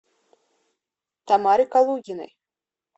тамаре калугиной